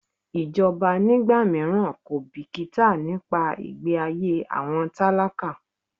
Ìjọba ní ìgbà míràn kò bìkítà nípa ìgbẹ́ ayé àwọn tálákà.